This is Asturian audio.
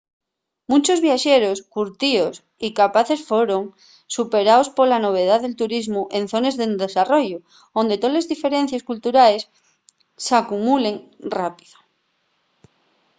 munchos viaxeros curtíos y capaces foron superaos pola novedá del turismu en zones en desarrollu onde toles diferencies culturales s'acumulen rápido